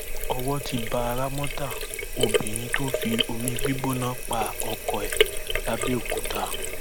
owó ti bá ramọta obìnrin tó fi omi gbígbóná pa ọkọ ẹ làbẹọkúta